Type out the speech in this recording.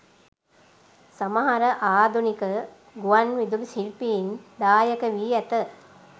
සමහර ආධුනික ගුවන් විදුලි ශිල්පීන් දායක වී ඇත